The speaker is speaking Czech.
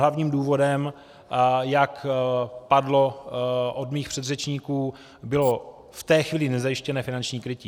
Hlavním důvodem, jak padlo od mých předřečníků, bylo v té chvíli nezajištěné finanční krytí.